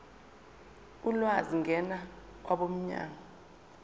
ulwazi ngena kwabomnyango